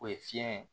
O ye fiɲɛ ye